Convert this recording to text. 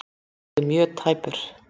Ég er mjög tæpur.